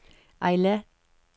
Eilat